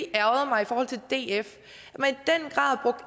ærgret mig i forhold til df